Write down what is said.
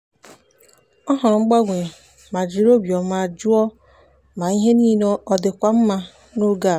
ọ hụrụ mgbanwe ma jiri obiọma jụọ ma ihe niile ọ dịkwa mma n'oge a.